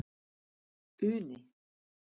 Uni